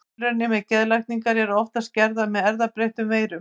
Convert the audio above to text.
Tilraunir með genalækningar eru oftast gerðar með erfðabreyttum veirum.